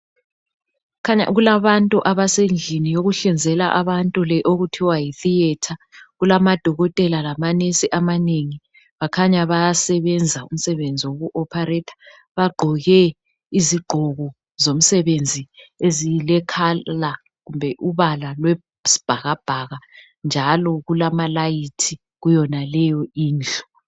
Kukhanya kulabantu abasendlini yokuhlinzela abantu le okuthiwa yi theatre , kulamadokotela lama nurse amanengi bakhanya bayasebenza umsebenzi woku operator . Bagqoke izigqoko zomsebenzi ezile colour kumbe ubala lwesibhakabhaka njalo kulamalayithi kuyonaleyo indlu.